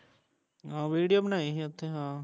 ਆਹੋ video ਬਣਾਈ ਸੀ ਓਥੇ ਹਾਂ